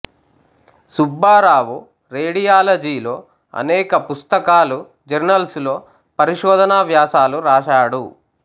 సుబ్బారావు రేడియాలజిలో అనేక పుస్తకాలు జర్నల్స్ లో పరిశోధనా వ్యాసాలు రాశాడు